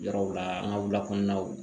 Yɔrɔw la an ka wulakɔɔnaw